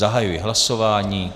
Zahajuji hlasování.